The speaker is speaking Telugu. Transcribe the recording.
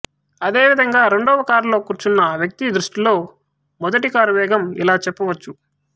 అదే విధంగా రెండవ కారులో కూర్చున్న వ్యక్తి దృష్టిలో మొదటి కారు వేగం ఇలా చెప్పవచ్చు